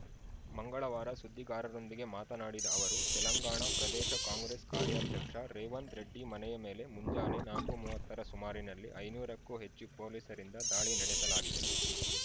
ಮಂಗಳವಾರ ಸುದ್ದಿಗಾರರೊಂದಿಗೆ ಮಾತನಾಡಿದ ಅವರು ತೆಲಂಗಾಣ ಪ್ರದೇಶ ಕಾಂಗ್ರೆಸ್‌ ಕಾರ್ಯಾಧ್ಯಕ್ಷ ರೇವಂತ್‌ ರೆಡ್ಡಿ ಮನೆಯ ಮೇಲೆ ಮುಂಜಾನೆ ನಾಕು ಮೂವತ್ತರ ಸುಮಾರಿನಲ್ಲಿ ಐನೂರಕ್ಕೂ ಹೆಚ್ಚು ಪೊಲೀಸರಿಂದ ದಾಳಿ ನಡೆಸಲಾಗಿದೆ